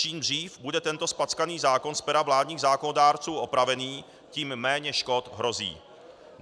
Čím dřív bude tento zpackaný zákon z pera vládních zákonodárců opravený, tím méně škod hrozí.